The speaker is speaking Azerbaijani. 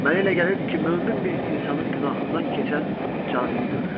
Mənə elə gəlirdi ki, mömin bir insanın günahından keçən canini görürəm.